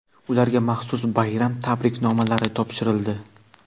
ularga maxsus bayram tabriknomalari topshirildi.